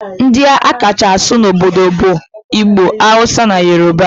Ndi a kacha asụ n'obodo anyi bu Igbo, Hausa, na Yoruba.